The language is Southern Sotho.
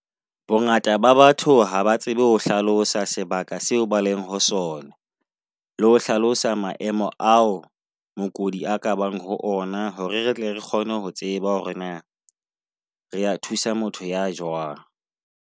Bongata ba batho haba tsebe ho hlalosa sebaka seo ba leng ho sona, le ho hlalosa maemo ao mookodi a ka bang ho ona. Hore re tle re kgone ho tseba hore na re a thusa motho ya jwang.